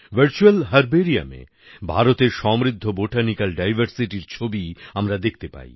virtual Herbariumএ ভারতের সমৃদ্ধ বোটানিক্যাল Diversityর ছবি আমরা দেখতে পাই